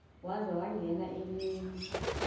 waza ngenye imini